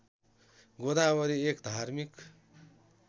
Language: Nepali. गोदावरी एक धार्मिक